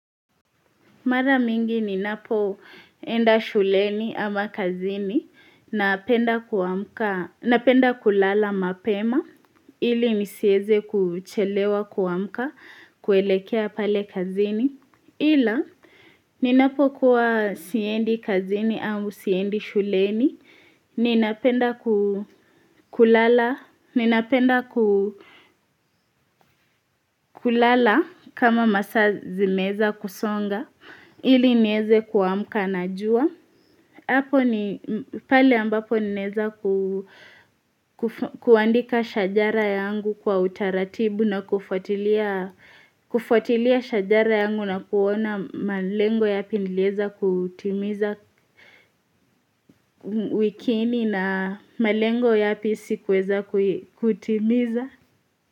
Mara mingi ninapoenda shuleni ama kazini, napenda kulala mapema, ili nisieze kuchelewa kuamka, kuelekea pale kazini. Ila, ninapokuwa siendi kazini au siendi shuleni, ninapenda kulala kama masa zimeza kusonga, ili nieze kuamka na jua. Hapo ni pale ambapo nilieza kuandika shajara yangu kwa utaratibu na kufatilia shajara yangu na kuona malengo yapi nileza kutimiza wikini na malengo yapi sikuweza kutimiza.